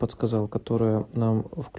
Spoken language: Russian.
сказал которое нам